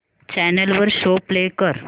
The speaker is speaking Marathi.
चॅनल वर शो प्ले कर